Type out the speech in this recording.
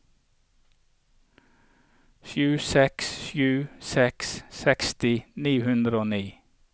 sju seks sju seks seksti ni hundre og ni